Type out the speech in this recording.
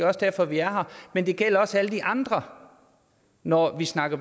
også derfor vi er her men det gælder også alle de andre når vi snakker